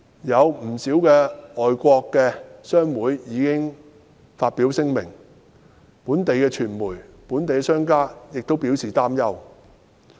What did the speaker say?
不少外國商會已先後發表聲明，本地傳媒和商人亦表示擔憂。